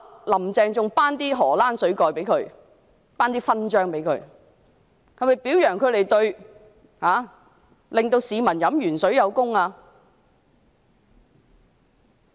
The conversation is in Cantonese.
"林鄭"其後更頒授"荷蘭水蓋"給他們，是否表揚他們讓市民飲鉛水有功？